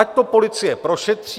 Ať to policie prošetří.